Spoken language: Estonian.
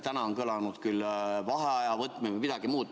Täna on kõlanud vaheaja võtmise soovitus või midagi muud.